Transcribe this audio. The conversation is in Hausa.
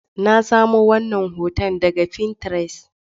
Na samo wannan hoton daga Pinterest.